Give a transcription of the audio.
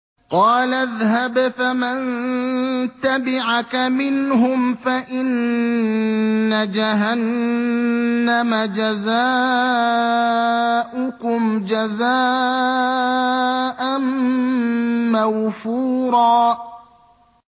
قَالَ اذْهَبْ فَمَن تَبِعَكَ مِنْهُمْ فَإِنَّ جَهَنَّمَ جَزَاؤُكُمْ جَزَاءً مَّوْفُورًا